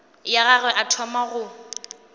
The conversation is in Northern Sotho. ya gagwe a thoma go